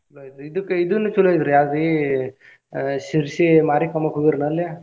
ಚೊಲೋ ಐತ್ರಿ ಇದಕ್ಕ್ ಇದುನು ಚೊಲೋ ಐತ್ರಿ ಯಾವ್ದ್ರಿ ಆಹ್ Sirsi ಮಾರಿಕಾಂಬಾಕ ಹೋಗಿರೇನ ಅಲ್ಲಿ?